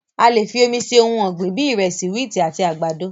A lè fi omi se ohun ọgbin bíi ìrẹsì, wíìtì àti àgbàdo.